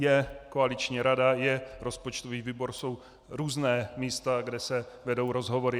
Je koaliční rada, je rozpočtový výbor, jsou různá místa, kde se vedou rozhovory.